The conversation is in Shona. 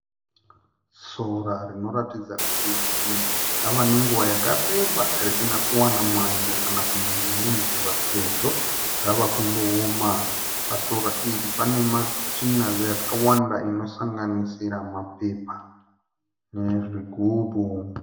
Sora rinoratidza kuti rava nenguva yakareba risina kuwana mwando kana kunaiwa nemvura sezvo ravakunooma. Pasora iri panematsvina yakawanda anosanganisira mapepa nezvigumbu.